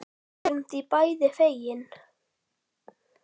Við erum því bæði fegin.